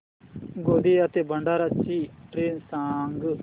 गोंदिया ते भंडारा ची ट्रेन सांग